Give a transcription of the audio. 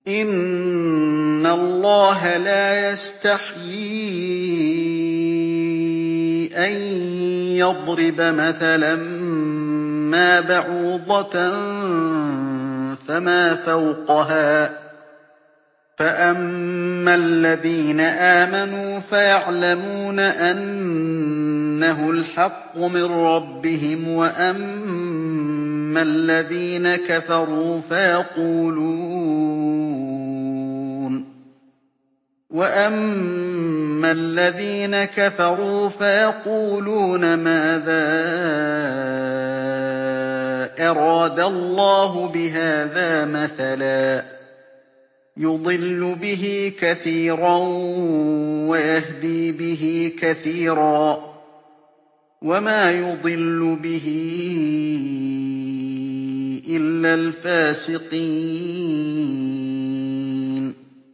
۞ إِنَّ اللَّهَ لَا يَسْتَحْيِي أَن يَضْرِبَ مَثَلًا مَّا بَعُوضَةً فَمَا فَوْقَهَا ۚ فَأَمَّا الَّذِينَ آمَنُوا فَيَعْلَمُونَ أَنَّهُ الْحَقُّ مِن رَّبِّهِمْ ۖ وَأَمَّا الَّذِينَ كَفَرُوا فَيَقُولُونَ مَاذَا أَرَادَ اللَّهُ بِهَٰذَا مَثَلًا ۘ يُضِلُّ بِهِ كَثِيرًا وَيَهْدِي بِهِ كَثِيرًا ۚ وَمَا يُضِلُّ بِهِ إِلَّا الْفَاسِقِينَ